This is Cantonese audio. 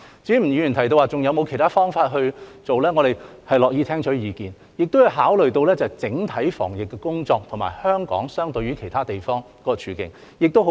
至於吳議員提及是否還有其他方法處理，我們樂意聽取意見，也要考慮到整體防疫工作，以及相對於其他地方香港的處境為何。